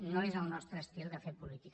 no és el nostre estil de fer política